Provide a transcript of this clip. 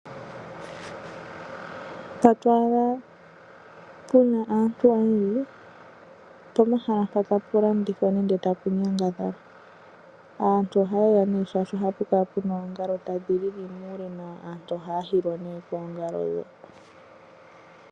Mpoka to adha pu na aantu oyendji, opomahala mpoka tapu landithwa nenge tapu nyangadhalwa. Aantu ohaye ya nduno, oshoka ohapu kala pu na oongalo tadhi lili muule nawa. Aantu ohaya hilwa koongalo ndhoka.